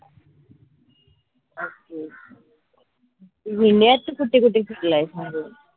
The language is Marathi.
अच्छा अच्छा तुम्ही india त कुटे कुटे फिरलायस म्हनजे